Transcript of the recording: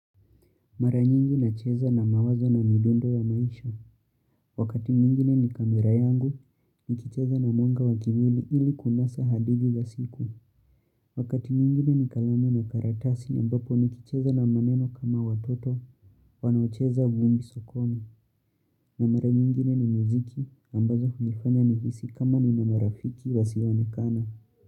Maranyingi na cheza na mawazo na midundo ya maisha. Wakati mwingine ni kamera yangu, nikicheza na mwanga wakivuli ili kunasa hadithi za siku. Wakati mwingine ni kalamu na karatasi, ambapo nikicheza na maneno kama watoto, wanaocheza vumbi sokoni. Na maranyingine ni muziki, ambazo hunifanya ni hisi kama ni na marafiki wasioonekana.